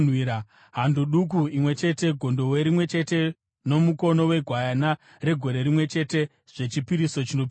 hando duku imwe chete, gondobwe rimwe chete nomukono wegwayana regore rimwe chete zvechipiriso chinopiswa;